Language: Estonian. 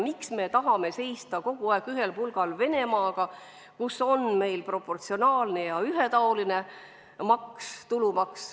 Miks me tahame seista kogu aeg ühel pulgal Venemaaga, kus on nagu meil proportsionaalne ja ühetaoline tulumaks?